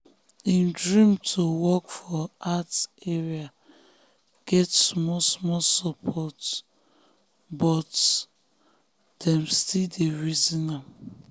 him dream to work for art area get small-small support small-small support but dem still dey reason am.